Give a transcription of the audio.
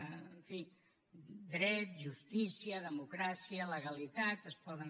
en fi dret justícia democràcia legalitat es poden